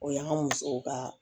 O y'an ka musow ka